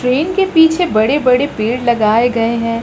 Train के पीछे बड़े बड़े पेड़ लगाए गए हैं।